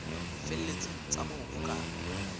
felletseng tsa moo ho ka